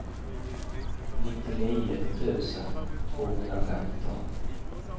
nittionio tusen tvåhundrafemton